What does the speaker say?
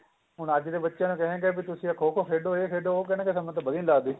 ਹੁਣ ਅੱਜ ਦੇ ਬੱਚੇ ਤਾਂ ਕਹੇ ਗਏ ਕੀ ਤੁਸੀਂ ਖੋ ਖੋ ਖੇਡੋ ਇਹ ਖੇਡੋ ਉਹ ਕਹਿਣ ਗੇ ਸਾਨੂੰ ਤਾਂ ਵਧੀਆ ਨੀਂ ਲੱਗਦੀ